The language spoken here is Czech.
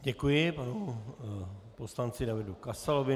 Děkuji panu poslanci Davidu Kasalovi.